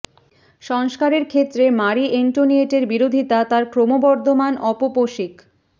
সংস্কারের ক্ষেত্রে Marie Antoinette এর বিরোধীতা তাঁর ক্রমবর্ধমান অপপোষিক